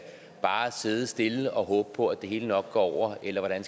sidde stille og håbe på at det hele nok går over eller hvordan